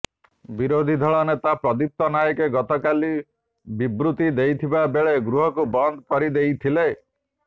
ବିରୋଧୀ ଦଳ ନେତା ପ୍ରଦୀପ୍ତ ନାଏକ ଗତକାଲି ବିବୃତ୍ତି ଦେଉଥିବା ବେଳେ ଗୃହକୁ ବନ୍ଦ କରି ଦେଇଥିଲେ